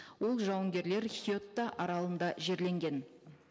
ол жауынгерлер хьетта аралында жерленген